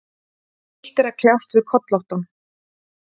Illt er að kljást við kollóttan.